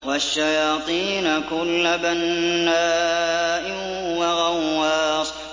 وَالشَّيَاطِينَ كُلَّ بَنَّاءٍ وَغَوَّاصٍ